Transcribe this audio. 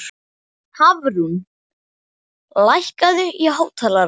Hafrún, lækkaðu í hátalaranum.